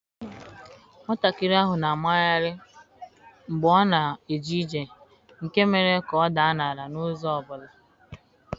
Nwatakịrị ahụ na-amagharị mgbe ọ na-eje ije nke mere ka ọ daa n'ala n'ụzọ ọ bụla.